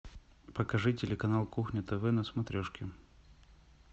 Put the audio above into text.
покажи телеканал кухня тв на смотрешке